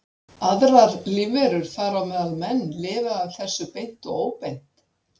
Aðrar lífverur, þar á meðal menn, lifa af þessu beint og óbeint.